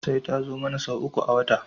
Sai ta zo mana sau uku a wata